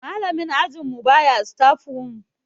malamin ajinmu baya staf room